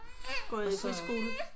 På øh friskolen?